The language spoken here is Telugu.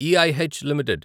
E I H limited